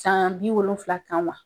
San bi wolonwula kan wa?